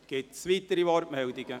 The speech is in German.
Gibt es weitere Wortmeldungen?